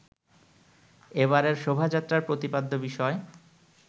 এবারের শোভাযাত্রার প্রতিপাদ্য বিষয়